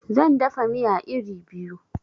Zan dafa miya iri biyu